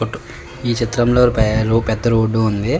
ఈ చిత్రం లో పెద్ద రోడ్డు ఉంది.